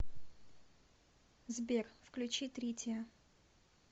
сбер включи тритиа